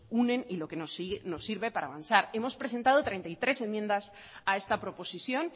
unen y lo que nos sirve para avanzar hemos presentado treinta y tres enmiendas a esta proposición